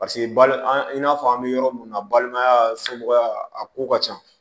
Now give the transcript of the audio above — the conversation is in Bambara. Paseke ba an'a fɔ an bɛ yɔrɔ min na balimaya somɔgɔya a ko ka ca